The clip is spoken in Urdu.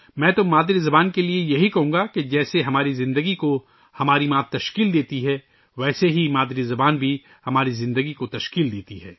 میں تو مادری زبان کے لئے یہی کہوں گا کہ جس طرح ہماری ماں ہماری زندگی بناتی ہے، اسی طرح مادری زبان بھی ہماری زندگی بناتی ہے